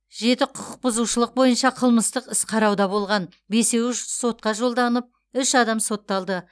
жеті құқық бұзушылық бойынша қылмыстық іс қарауда болған бесеуі сотқа жолданып үш адам сотталды